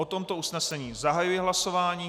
O tomto usnesení zahajuji hlasování.